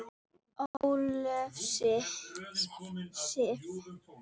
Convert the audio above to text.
Ólöf Sif.